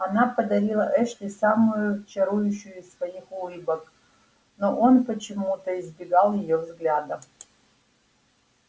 она подарила эшли самую чарующую из своих улыбок но он почему-то избегал её взгляда